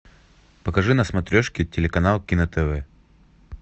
покажи на смотрешке телеканал кино тв